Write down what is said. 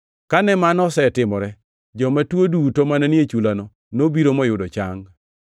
Kane mano osetimore, joma tuo duto mane ni e chulano nobiro moyudo chang.